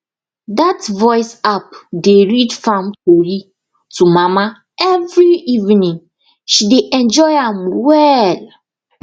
that voice app dey read farm tori to mama every evening she dey enjoy am well